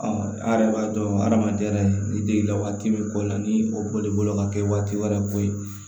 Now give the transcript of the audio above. a yɛrɛ b'a dɔn adamaden yɛrɛ ni degeli la waati min ko la ni o bɔl'i bolo ka kɛ waati wɛrɛ ko ye